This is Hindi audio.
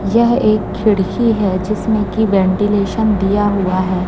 यह एक खिड़की है जिसमें की वेंटिलेशन दिया हुआ है।